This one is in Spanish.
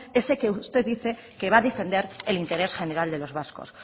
ese que usted dice que va a defender el interés general de los vascos